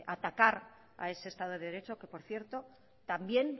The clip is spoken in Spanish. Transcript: atacar a ese estado de derecho que por cierto también